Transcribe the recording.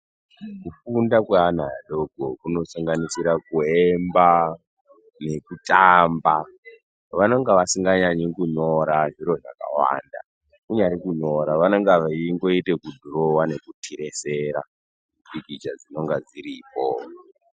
Kufunda kweana adoko kunosanganisira kuemba nekutamba, vanonga vasinganyanyi kunyora zviro zvakawanda. Kunyari kunyora vanonga veingoita kudhurova nekuturesera pikicha dzinonga dziripo.